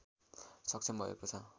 सक्षम भएको छ